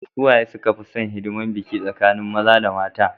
suwaye suka fi San hidimar biki tsakanin maza da mata